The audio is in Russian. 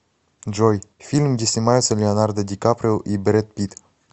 джой фильм где снимаются леонардо дикаприо и бред пит